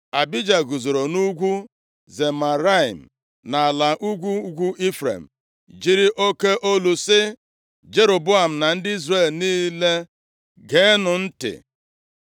Abija guzoro nʼugwu Zemaraim nʼala ugwu ugwu Ifrem jiri oke olu sị “Jeroboam na ndị Izrel niile geenụ m ntị!